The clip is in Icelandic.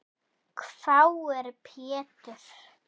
hváir Pétur.